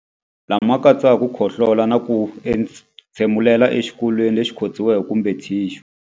Lama katsaka ku khohlola na ku entshemulela exikokolweni lexi khotsiweke kumbe thixu.